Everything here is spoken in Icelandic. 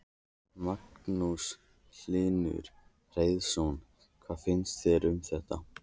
Magnús Hlynur Hreiðarsson: Hvað finnst þér um þetta?